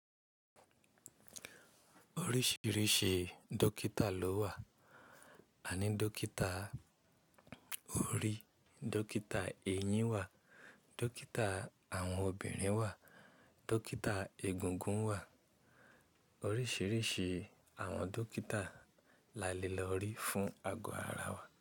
Oríṣìíríṣìí dókítà ló wà. A ní dókítà orí, dókítà eyín wà, dókítà àwọn obìnrin wà, dókítà egungun wà. Oríṣìíríṣìí àwọn dókítà la le lọ rí fún ago ara wa.